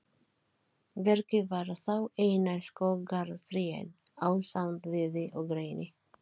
Birki var þá eina skógartréð ásamt víði og reyni.